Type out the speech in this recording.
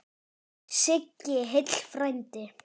Sigl heill frændi.